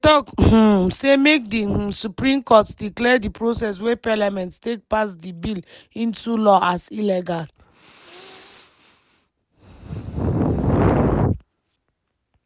dey tok um say make di um supreme court declare di process wey parliament take pass di bill into law as illegal.